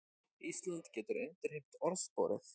Ísland getur endurheimt orðsporið